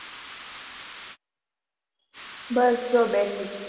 બસ જો બેઠી.